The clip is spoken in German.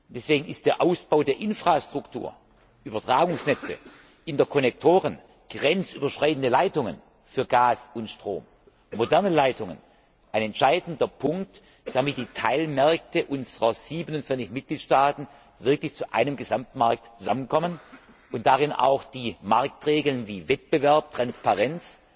Deswegen ist der Ausbau der Infrastruktur Übertragungsnetze, Interkonnektoren, grenzüberschreitende Leitungen für Gas und Strom, moderne Leitungen ein entscheidender Punkt, damit die Teilmärkte unserer 27 Mitgliedstaaten wirklich zu einem Gesamtmarkt zusammenkommen und darin auch die Marktregeln wie Wettbewerb, Transparenz,